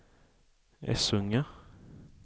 Essunga